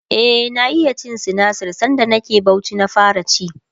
e na iya cin sinasir sanda nake Bauchi na fara ci